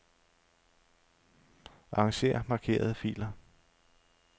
Arranger markerede filer.